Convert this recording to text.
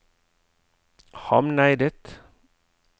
Hamneidet